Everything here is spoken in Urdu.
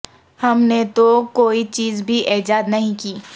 ہم نے تو کوئی چیز بھی ایجاد نہیں کی